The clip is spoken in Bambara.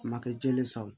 Kuma kɛ jɛlen san